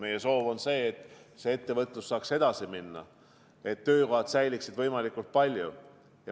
Meie soov on see, et ettevõtlus saaks edasi minna ja et võimalikult paljud töökohad säiliksid.